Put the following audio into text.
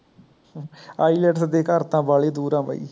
IELTS ਸਾਡੇ ਘਰ ਤਾਂ ਵਾਲੀ ਦੂਰ ਹੈ ਬਇ